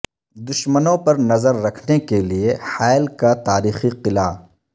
دشمنوں پر نظر رکھنے کے لیے حائل کا تاریخی قلعہ